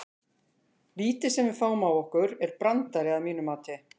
Vítið sem að við fáum á okkur er brandari að mínu mati.